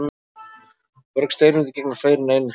Mörg steinefni gegna fleiri en einu hlutverki.